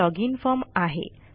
हा login form आहे